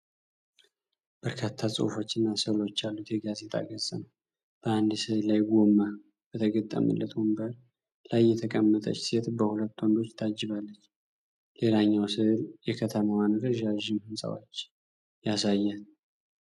በርካታ ጽሑፎችና ሥዕሎች ያሉት የጋዜጣ ገጽ ነው። በአንድ ሥዕል ላይ፣ ጎማ በተገጠመለት ወንበር ላይ የተቀመጠች ሴት በሁለት ወንዶች ታጅባለች። ሌላኛው ሥዕል የከተማዋን ረዣዥም ሕንፃዎች ያሳያል።